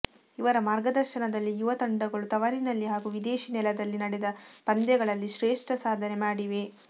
ಇವರ ಮಾರ್ಗದರ್ಶನದಲ್ಲಿ ಯುವ ತಂಡಗಳು ತವರಿನಲ್ಲಿ ಹಾಗೂ ವಿದೇಶಿ ನೆಲದಲ್ಲಿ ನಡೆದ ಪಂದ್ಯಗಳಲ್ಲಿ ಶ್ರೇಷ್ಠ ಸಾಧನೆ ಮಾಡಿವೆ